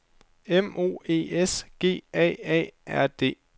M O E S G A A R D